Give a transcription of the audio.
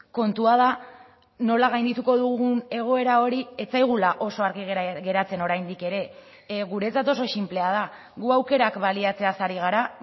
kontua da nola gaindituko dugun egoera hori ez zaigula oso argi gera geratzen oraindik ere guretzat oso sinplea da gu aukerak baliatzeaz ari gara